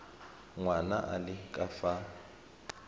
ngwana a le ka fa